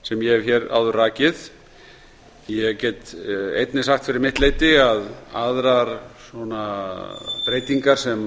sem ég hef áður rakið ég get einnig sagt fyrir mitt leyti að aðrar breytingar sem